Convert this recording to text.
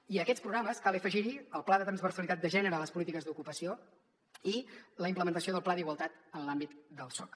i a aquests programes cal afegir hi el pla de transversalitat de gènere a les polítiques d’ocupació i la implementació del pla d’igualtat en l’àmbit del soc